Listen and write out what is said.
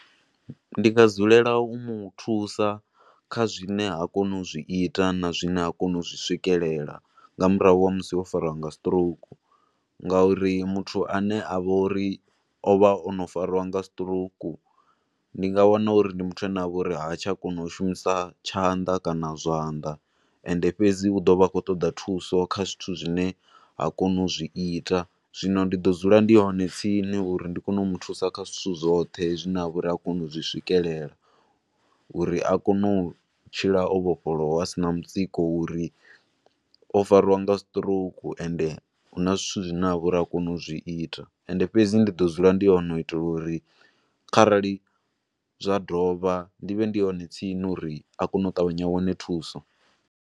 Ndi nga dzulela u muthusa kha zwine ha koni u zwi ita na zwine ha koni u zwi swikelela, nga murahu ha musi o fariwa nga sitirouku, nga uri muthu ane a vho uri o vha ono fariwa nga sitirouku, ni nga wana uri ndi muthu ane a vha uri ha tsha kona u shumisa tshanḓa kana zwanḓa, ende fhedzi u ḓo vha a khou ṱoḓa thusa kha zwithu zwine ha koni u zwi ita, zwino ndi ḓo dzula ndi hone tsini uri ndi kone u muthusa kha zwithu zwoṱhe zwi ne ha vha uri ha koni u zwi swikelela, uri a kone u tshila o vhofholowa a sina mutsiko u ri o fariwa nga sitirouku, ende huna zwithu zwine ha vha uri ha koni u zwi ita, ende fhedzi ndi ḓo dzula ndi hone u itela uri kharali zwa dovha ndi vhe ndi hone tsini uri a kone u tavhanya a wane thuso.